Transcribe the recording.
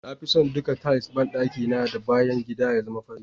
Na fi son duka tiles banɗaki na da bayan gida ya zama fari.